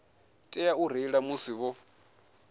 tea u reila musi vho